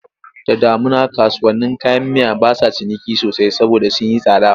Da damuna kasuwannin kayan miya ba sa ciniki sosai saboda sun yi tsada.